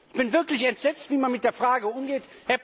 Ich bin wirklich entsetzt, wie man mit der Frage umgeht.